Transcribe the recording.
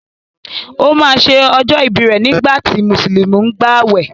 O ma ṣe ọjọ́ ìbí rẹ̀ nígbàtí Mùsùlùmí ń gbàwẹ̀